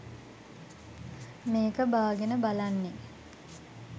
මේක බාගෙන බලන්නේ